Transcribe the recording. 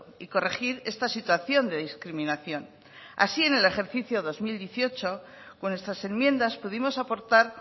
y corregir esta situación de discriminación así en el ejercicio dos mil dieciocho con nuestras enmiendas pudimos aportar